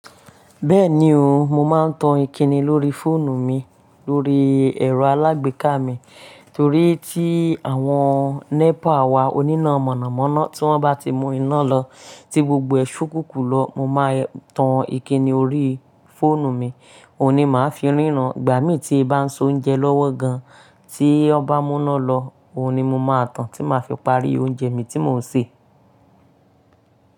Bẹ́ẹ̀ni o, mo máa ń tan ìkíni lórí fóònù mi lórí ẹ̀rọ alágbèéká mi torí tí àwọn NEPA wa oníná mọ̀nàmọ́ná tí wọ́n bá ti mú iná lọ tí gbogbo ẹ̀ ṣókùnkùn lọ mo máa tan ìkíni orí fóònù mi òun ni màá fi ríran. Ìgbà mí tí bá ń soúnjẹ lọ́wọ́ gan tí wọ́n bá mú iná lọ òun ni mo máa tan tí màá fi parí oúnjẹ mi tí mò ń sè.